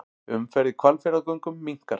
Umferð í Hvalfjarðargöngum minnkar